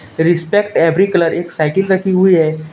Respect every colour एक cycle रखी हुई हैं.